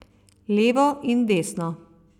Levo in desno.